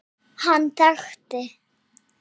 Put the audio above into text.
Hann þekkti